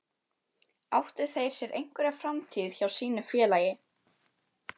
Áttu þeir sér einhverja framtíð hjá sínu félagi?